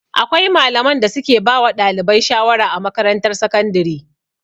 Akwai malaman da su ke ba wa ɗalibai shawara a makarantar sakandire